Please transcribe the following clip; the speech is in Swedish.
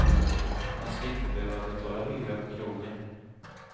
Man ska inte behöva betala hyra på krogen.